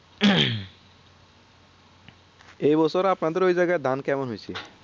এই বছর আপনাদের ওই জায়গার ধান কেমন হয়েছে